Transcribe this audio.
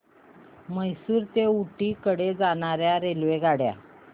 म्हैसूर ते ऊटी कडे जाणार्या रेल्वेगाड्या